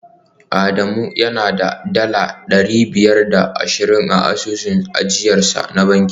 Adamu yana da dala dari biyar da ashirin a asusun ajiyarsa na banki